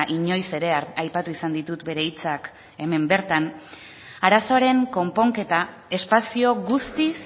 inoiz ere aipatu izan ditut bere hitzak hemen bertan arazoaren konponketa espazio guztiz